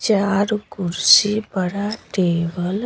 चार कुर्सी पर टेबल --